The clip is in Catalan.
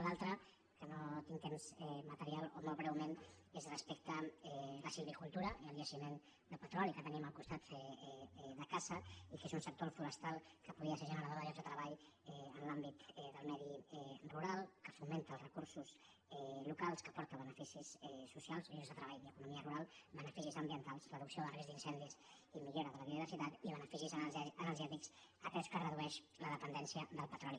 l’altre que no tinc temps material o molt breument és respecte a la silvicultura i el jaciment de petroli que tenim al costat de casa i que és un sector el forestal que podria ser generador de llocs de treball en l’àmbit del medi rural que fomenta els recursos locals que aporta beneficis socials llocs de treball i economia rural beneficis ambientals reducció del risc d’in·cendis i millora de la biodiversitat i beneficis energè·tics atès que redueix la dependència del petroli